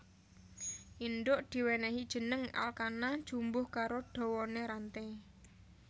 Indhuk diwènèhi jeneng alkana jumbuh karo dawané ranté